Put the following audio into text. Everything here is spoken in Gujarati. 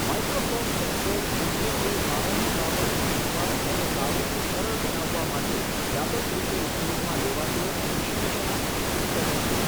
માઇક્રોસોફ્ટ એક્સેલ મુખ્યત્વે પાયાની બાબતો શીખવા અને કાર્યને સરળ બનાવવા માટે વ્યાપક રીતે ઉપયોગમાં લેવાતું વિશ્લેષણાત્મક ઉપકરણ છે.